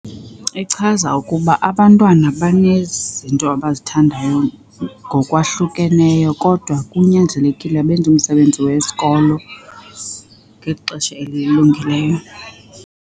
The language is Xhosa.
Ichaza ukuba abantwana banezinto abazithandayo ngokwahlukeneyo kodwa kunyanzelekile benze umsebenzi wesikolo ngexesha elilungileyo.